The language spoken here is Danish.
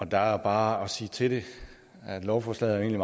der er bare at sige til det at lovforslaget jo